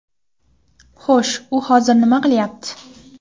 Xo‘sh, u hozir nima qilyapti?